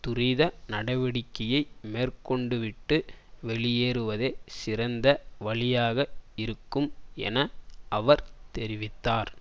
துரித நடவடிக்கையை மேற்கொண்டுவிட்டு வெளியேறுவதே சிறந்த வழியாக இருக்கும் என அவர் தெரிவித்தார்